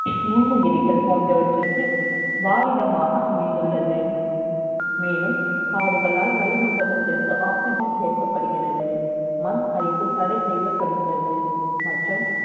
நுண்ணுயிரிகள் ப ோன்றவற்றிற்கு, வாழிடமாக அமை ந்துள்ளது மே லும், காடுகளால் வளிமண்டலத்திற்கு Oxygen சே ர்க்கப்படுகிறது. மண் அரிப்பு தடை செ ய்யப்படுகிறது. மற்றும்